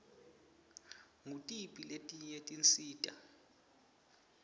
ngutiphi letinye tinsita